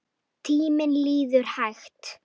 Tíminn líður hægt.